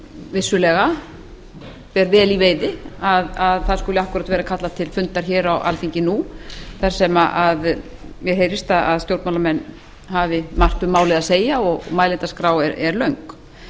vissulega ber vel í veiði að það skuli akkúrat vera kallað til fundar á alþingi nú þar sem mér heyrist að stjórnmálamenn hafi margt um málið að segja og mælendaskrá er löng